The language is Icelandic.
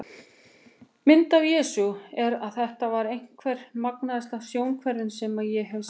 Mynd af Jesú er af Þetta er einhver magnaðasta sjónhverfing sem ég hef séð.